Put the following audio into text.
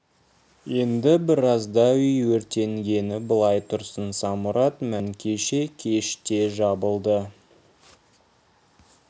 енді біразда үй өртенгені былай тұрсын самұрат мәзін кеше кеште жабылды